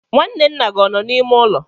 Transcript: nwanne nna gị ọ nọ n'ime ụlọ?